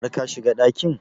Har ka shiga ɗakin?